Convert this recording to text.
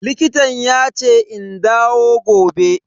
Likitan yace in dawo gobe.